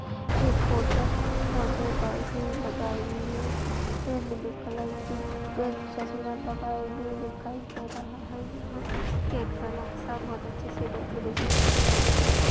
एक कोट हैं और यह डाई ही लगाई हुई हैं यह ब्लू कलर की चश्मा लगाए हुए दिखाई दे रहा हैं यहाँ केक का बक्सा बहुत अच्छे से डेकोरेशन किया हुआ दिखाई दे--